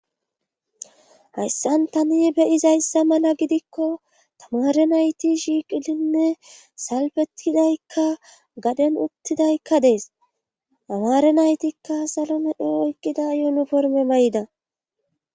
Hayssan tani beyizayssa mala gidikko tamare nayti shiiqilinne salfetidaykka gaden uttidaykka dees amaare naytikka salonido oykqida yuunu porme may'da.